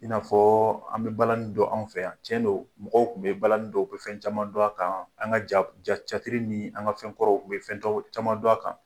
I n'a fɔ an bɛ balani dɔn an fɛ yan tiɲɛ do mɔgɔw kun bɛ balani dɔn o bɛ fɛn caman dɔn a kan an ka ja teyatiri ni an ka fɛnkɔrɔw o bɛ fɛn caman dɔn a kan.